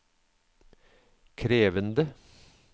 krevende